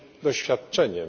doświadczeniem.